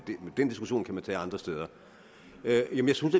den diskussion kan man tage andre steder jamen jeg synes